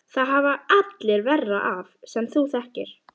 Það hafa allir verra af sem þú þekkir!